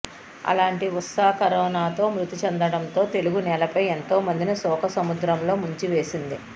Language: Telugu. అలాంటి ఊసా కరోనాతో మృతి చెందడంతో తెలుగు నేలపైఎంతో మందిని శోకసముద్రంలో ముంచివేసింది